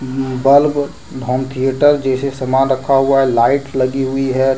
Bulb और home theatre जैसे सामान रखा हुआ है लाइट लगी हुई है।